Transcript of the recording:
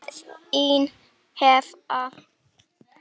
Þín Eva